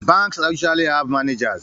Banks usually have managers